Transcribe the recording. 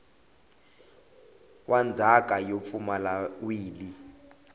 wa ndzhaka yo pfumala wili